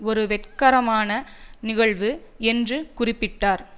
ஒரு வெட்கரமான நிகழ்வு என்று குறிப்பிட்டார்